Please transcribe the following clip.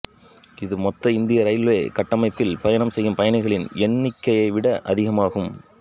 இது மொத்த இந்திய ரயில்வே கட்டமைப்பில் பயணம் செய்யும் பயணிகளின் எண்ணிக்கையைவிட அதிகமாகும்